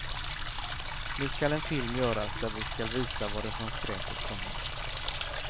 Nu skall en film göras där vi skall visa varifrån skräpet kommer.